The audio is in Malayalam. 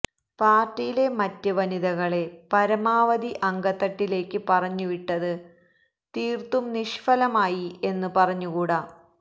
പാർട്ടിയിലെ മറ്റ് വനിതകളെ പരമാവധി അങ്കത്തട്ടിലേക്ക് പറഞ്ഞുവിട്ടത് തീർത്തും നിഷ്ഫലമായി എന്ന് പറഞ്ഞുകൂടാ